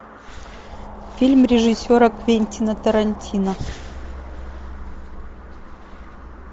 фильм режиссера квентина тарантино